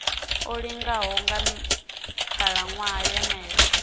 o linganaho nga khalaṅwaha yeneyo